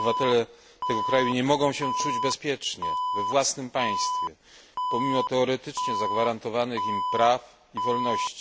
Obywatele tego kraju nie mogą się czuć bezpiecznie we własnym państwie pomimo teoretycznie zagwarantowanych im praw i wolności.